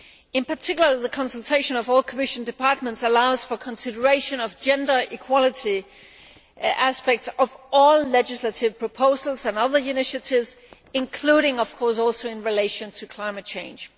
In particular, the consultation of all Commission departments allows for consideration of gender equality aspects of all legislative proposals and other initiatives, including in relation to climate change.